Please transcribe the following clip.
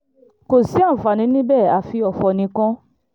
kò sí ààǹfààní níbẹ̀ àfi ọ̀fọ̀ nìkan